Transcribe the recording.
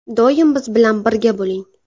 Doim biz bilan birga bo‘ling!